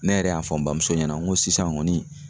Ne yɛrɛ y'a fɔ n bamuso ɲɛna n ko sisan kɔni